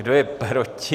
Kdo je proti?